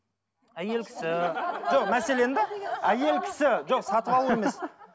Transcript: әйел кісі жоқ мәселен де әйел кісі жоқ сатып алу емес